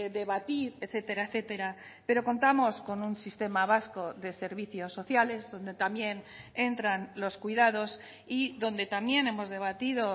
debatir etcétera etcétera pero contamos con un sistema vasco de servicios sociales donde también entran los cuidados y donde también hemos debatido